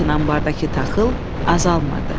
Lakin ambardakı taxıl azalmırdı.